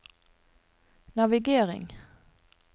navigering